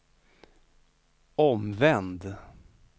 omvänd